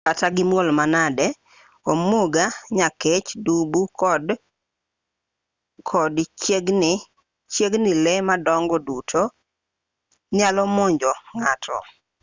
kata gimuol manade omuga nyakech dubu kod chiegini lee madongo duto nyalo monjo ng'ato